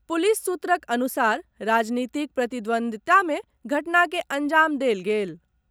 Police सूत्रक अनुसार राजनीतिक प्रतिद्वंदिता मे घटना के अंजाम देल गेल।